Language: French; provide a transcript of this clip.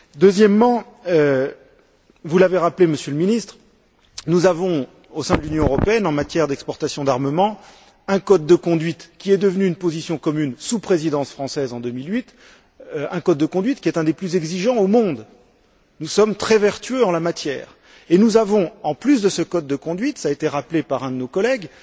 Deuxièmement, vous l'avez rappelé, Monsieur le Ministre, nous avons, au sein de l'Union européenne, en matière d'exportation d'armements, un code de conduite qui est devenu une position commune sous la Présidence française en 2008, un code de conduite qui est l'un des plus exigeants au monde. Nous sommes très vertueux en la matière, et nous avons, en plus de ce code de conduite, cela a été rappelé par un de nos collègues,